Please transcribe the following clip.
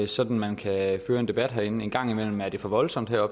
sådan man kan føre en debat herinde en gang imellem er det for voldsomt her